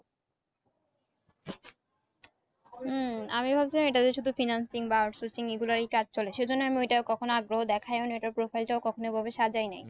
হম আমি ভাবছিলাম এটাতে শুধু freelancing বা out sourcing এগুলারি কাজ চলে সে জন্য আমি ঐটাকে কখনো আগ্রহ দেখায়নি ওটার profile টাও কখনো ওই ভাবে সাজাই নাই